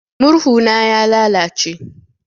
Murhu na ya lalace.